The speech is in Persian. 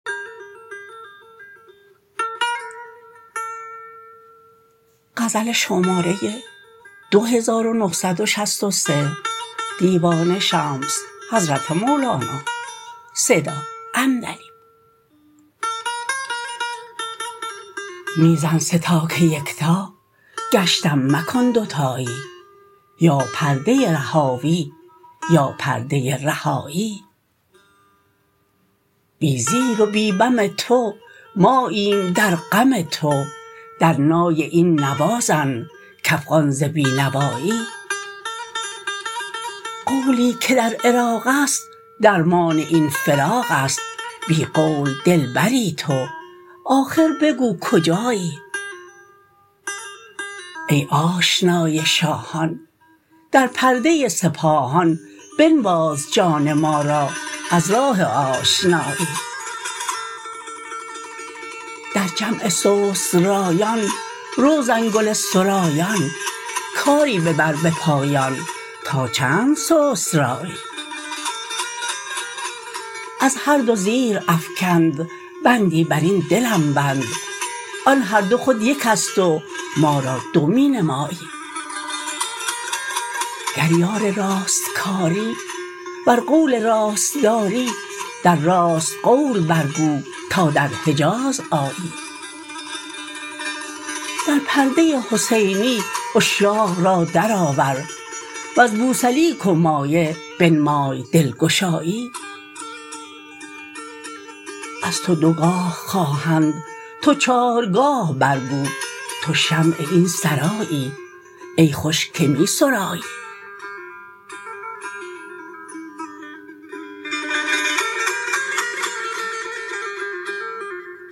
می زن سه تا که یک تا گشتم مکن دوتایی یا پرده رهاوی یا پرده رهایی بی زیر و بی بم تو ماییم در غم تو در نای این نوا زن کافغان ز بی نوایی قولی که در عراق است درمان این فراق است بی قول دلبری تو آخر بگو کجایی ای آشنای شاهان در پرده سپاهان بنواز جان ما را از راه آشنایی در جمع سست رایان رو زنگله سرایان کاری ببر به پایان تا چند سست رایی از هر دو زیرافکند بندی بر این دلم بند آن هر دو خود یکست و ما را دو می نمایی گر یار راست کاری ور قول راست داری در راست قول برگو تا در حجاز آیی در پرده حسینی عشاق را درآور وز بوسلیک و مایه بنمای دلگشایی از تو دوگاه خواهند تو چارگاه برگو تو شمع این سرایی ای خوش که می سرایی